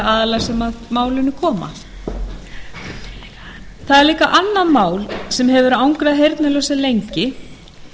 aðila sem að málunum koma það er líka annað mál sem hefur angrað heyrnarlausa lengi